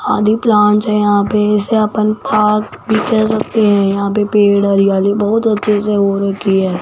आदि प्लांट्स है यहां पे से अपन पार्क भी कह सकते हैं यहां पे पेड़ हरियाली बहुत अच्छे से हो रखी है।